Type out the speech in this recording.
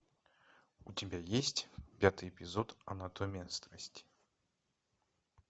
у тебя есть пятый эпизод анатомия страсти